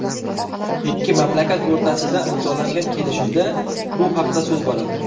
Ikki mamlakat o‘rtasida imzolangan kelishuvda bu haqda so‘z boradi.